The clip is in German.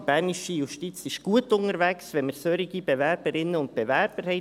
Die bernische Justiz ist gut unterwegs, wenn wir solche Bewerberinnen und Bewerber haben.